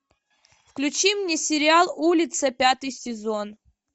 включи мне сериал улица пятый сезон